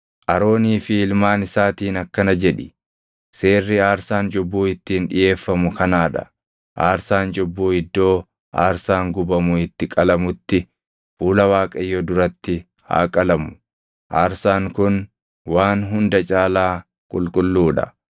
“Aroonii fi ilmaan isaatiin akkana jedhi: ‘Seerri aarsaan cubbuu ittiin dhiʼeeffamu kanaa dha: Aarsaan cubbuu iddoo aarsaan gubamu itti qalamutti fuula Waaqayyoo duratti haa qalamu; aarsaan kun waan hunda caalaa qulqulluu dha.